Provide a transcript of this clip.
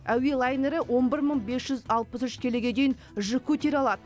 әуе лайнері он бір мың бес жүз алпыс үш келіге дейін жүк көтере алады